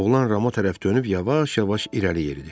Oğlan Rama tərəf dönüb yavaş-yavaş irəliləyirdi.